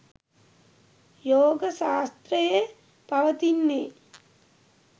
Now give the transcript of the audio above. යෝග ශාස්ත්‍රයේ පවතින්නේ